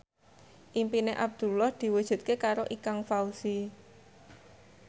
impine Abdullah diwujudke karo Ikang Fawzi